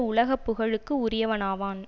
உலக புகழுக்கு உரியவனாவான்